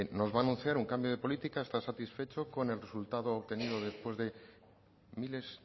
nos va a anunciar un cambio de política está satisfecho con el resultado obtenido después de miles